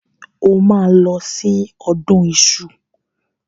O máa lọ sí ọdún iṣu.